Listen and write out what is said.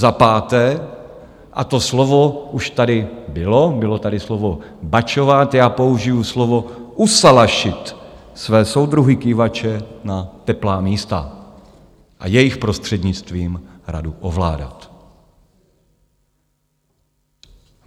Za páté, a to slovo už tady bylo, bylo tady slovo bačovat, já použiji slovo usalašit své soudruhy kývače na teplá místa a jejich prostřednictvím radu ovládat.